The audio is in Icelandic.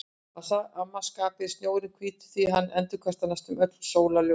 Að sama skapi er snjórinn hvítur því hann endurkastar næstum öllu sólarljósinu.